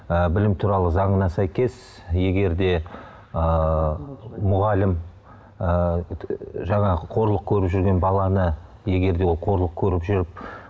ы білім туралы заңына сәйкес егер де ыыы мұғалім ыыы жаңағы қорлық көріп жүрген баланы егер де ол қорлық көріп жүріп